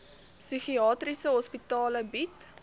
psigiatriese hospitale bied